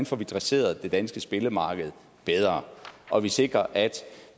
får dresseret det danske spillemarked bedre og vi sikrer at